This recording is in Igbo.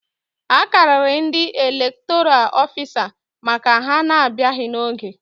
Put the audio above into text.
A karịrị ndị elektoral ofisa maka na ha abịaghị n'oge